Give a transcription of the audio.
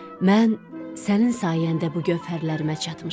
“Mən sənin sayəndə bu gövhərlərimə çatmışam.